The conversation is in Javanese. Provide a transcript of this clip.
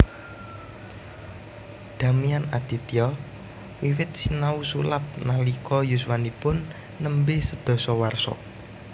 Damian Aditya wiwit sinau sulap nalika yuswanipun nembe sedasa warsa